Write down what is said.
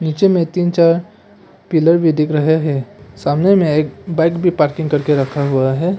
नीचे में तीन चार पिलर भी दिख रहे हैं सामने में एक बाइक भी पार्किंग करके रखा हुआ है।